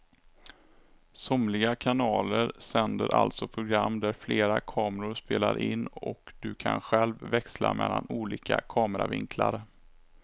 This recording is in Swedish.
Somliga kanaler sänder alltså program där flera kameror spelar in och du kan själv växla mellan olika kameravinklar.